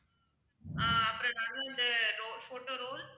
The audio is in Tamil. ஆஹ் அப்பறம் நடுவுல வந்து photo roll